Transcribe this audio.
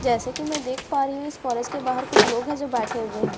जैसे कि मैं देख पा रही हूं इस कॉलेज के बाहर कुछ लोग हैं जो बैठे हुए हैं।